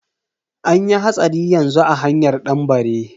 Anyi hatsari yanzu a hanyar danbare.